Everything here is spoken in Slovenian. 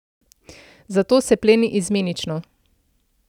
Zato se pleni izmenično.